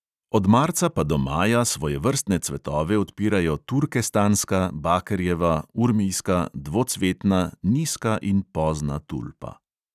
Od marca pa do maja svojevrstne cvetove odpirajo turkestanska, bakarjeva, urmijska, dvocvetna, nizka in pozna tulpa.